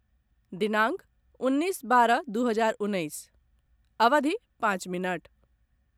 दिनांक उन्नैस बारह दू हजार उन्नैस, अवधि पाँच मिनट